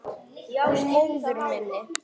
Og móður minni.